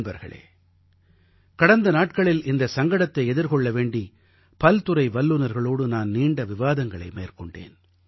நண்பர்களே கடந்த நாட்களில் இந்த சங்கடத்தை எதிர்கொள்ள வேண்டி பல்துறை வல்லுநர்களோடு நான் நீண்ட விவாதங்களை மேற்கொண்டேன்